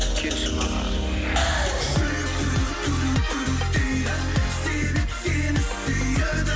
келші маған жүрек дейді себеп сені сүйеді